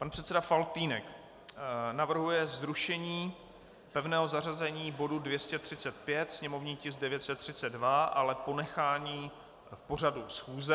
Pan předseda Faltýnek navrhuje zrušení pevného zařazení bodu 235, sněmovní tisk 932, ale ponechání v pořadu schůze.